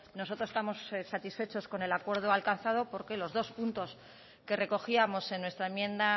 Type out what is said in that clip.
nosotros estamos satisfechos con el acuerdo alcanzado porque los dos puntos que recogíamos en nuestra enmienda